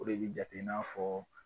O de bɛ jate i n'a fɔ